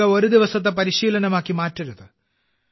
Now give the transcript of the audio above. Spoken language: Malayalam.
യോഗ ഒരു ദിവസത്തെ പരിശീലനമാക്കി മാറ്റരുത്